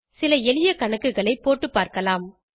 சில எளிய கணக்குகளை போட்டு பார்க்கலாம்